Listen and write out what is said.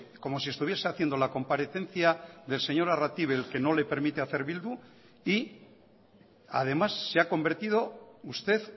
como si estuviese haciendo la comparecencia del señor arratibel que no le permite hacer bildu y además se ha convertido usted